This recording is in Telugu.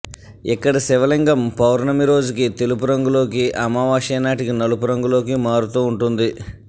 ఇక్కడి శివలింగం పౌర్ణమి రోజుకి తెలుపు రంగులోకి అమావాస్య నాటికి నలుపు రంగులోకి మారుతూ వుంటుంది